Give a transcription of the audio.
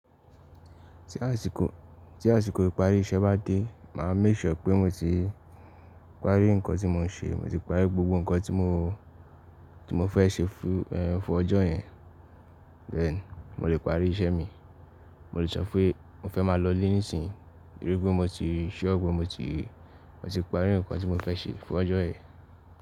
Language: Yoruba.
Tí àsìkò, tí àsìkò ìparí iṣẹ́ bá dé, màa make sure pé mo ti parí ǹkan tí mo ń ṣe, mo ti parí gbogbo ǹkan tí mo, tí mo fẹ́ ṣe fún, fún ọjọ́ yẹn. Bẹ́ẹ̀ni, mo lè parí iṣẹ́ mi, mo lè sọ pé mo fẹ́ máa lọ lé níìsín, tori pé mo ti sure pé mo ti, mo ti parí nnkan tí mo fẹ́ ṣe fún ọjọ́ yẹn.